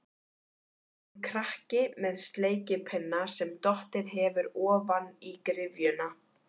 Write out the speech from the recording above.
Hún krakki með sleikipinna sem dottið hefur ofan í gryfjuna.